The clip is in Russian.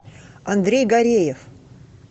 андрей гореев